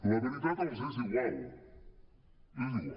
la veritat els és igual és igual